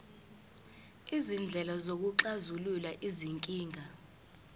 izindlela zokuxazulula izinkinga